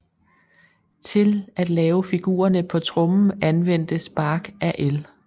Til at lave figurerne på trommen anvendtes bark af el